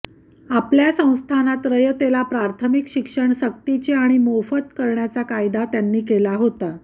आपल्या संस्थानात रयतेला प्राथमिक शिक्षण सक्तीचे आणि मोफत करण्याचा कायदा त्यांनी केला होता